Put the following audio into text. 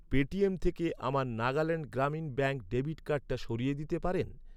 Paytm থেকে আমার Nagaland Grameen bank debit কার্ডটা সরিয়ে দিতে পারেন?